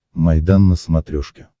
майдан на смотрешке